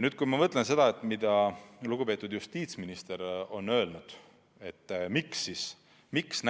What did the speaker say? Kui ma nüüd mõtlen sellele, mida lugupeetud justiitsminister on öelnud selle kohta, miks